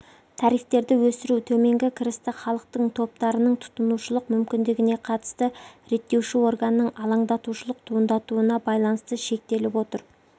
тарифтерді өсіру төменгі кірісті халықтың топтарының тұтынушылық мүмкіндігіне қатысты реттеуші органның алаңдатушылық туындатуына байланысты шектеліп отыр